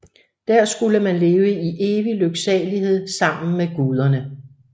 Der skulle man leve i evig lyksalighed sammen med guderne